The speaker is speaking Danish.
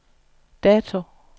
dato